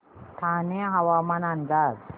ठाणे हवामान अंदाज